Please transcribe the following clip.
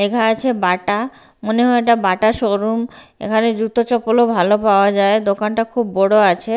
লেখা আছে বাটা মনে হয় এটা বাটা শোরুম এখানে জুতো চপ্পলও ভালো পাওয়া যায় দোকানটা খুব বড় আছে।